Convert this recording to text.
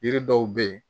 Yiri dɔw be ye